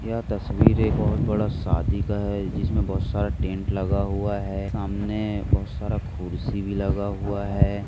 यह तस्वीर एक बहुत बड़ा शादी का है जिसमे बहुत सारा टेंट लगा हुआ है सामने बहुत सारा कुर्सी भी लगा हुआ है।